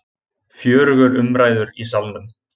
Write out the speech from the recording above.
Fjörugur umræður í Salnum